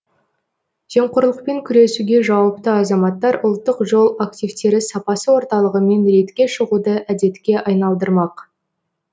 жемқорлықпен күресуге жауапты азаматтар ұлттық жол активтері сапасы орталығымен рейдке шығуды әдетке айналдырмақ